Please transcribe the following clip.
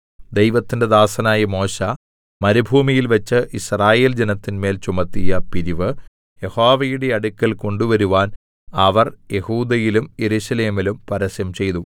ദൈവത്തിന്റെ ദാസനായ മോശെ മരുഭൂമിയിൽ വെച്ച് യിസ്രായേൽജനത്തിന്മേൽ ചുമത്തിയ പിരിവ് യഹോവയുടെ അടുക്കൽ കൊണ്ടുവരുവാൻ അവർ യെഹൂദയിലും യെരൂശലേമിലും പരസ്യം ചെയ്തു